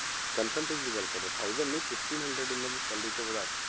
ਕਨਸੰਟਰੀ ਦੀ ਗੱਲ ਕਰ ਰਿਹਾਂ thousand ਨੀ fifteen hundred ਉਹਨਾਂ ਦੀ salary 'ਚ ਵਧਾ